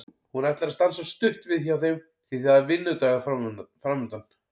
Hún ætlar að stansa stutt við hjá þeim því að það er vinnudagur framundan.